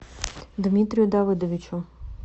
дмитрию давыдовичу